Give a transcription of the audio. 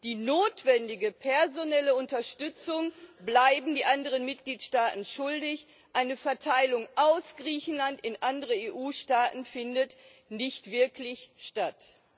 Die notwendige personelle Unterstützung bleiben die anderen Mitgliedstaaten schuldig, eine Verteilung aus Griechenland in andere EU Staaten findet nicht wirklich statt.